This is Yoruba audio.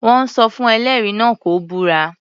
Wọ́n sọ fún ẹlẹ́rìí náà kó búra.